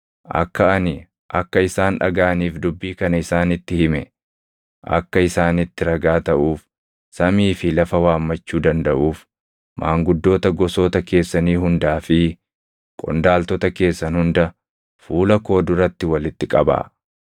Akka ani akka isaan dhagaʼaniif dubbii kana isaanitti hime akka isaanitti ragaa taʼuuf samii fi lafa waammachuu dandaʼuuf maanguddoota gosoota keessanii hundaa fi qondaaltota keessan hunda fuula koo duratti walitti qabaa.